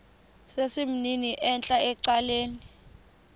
sesimnini entla ecaleni